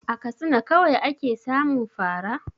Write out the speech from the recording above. A Katsina kawai ake samun fa ra?